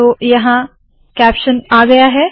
तो यहाँ कैप्शनआ गया है